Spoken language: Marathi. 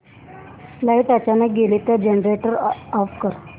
लाइट अचानक गेली तर जनरेटर ऑफ कर